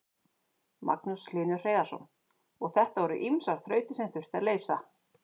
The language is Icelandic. Magnús Hlynur Hreiðarsson: Og þetta voru ýmsar þrautir sem þurfti að leysa?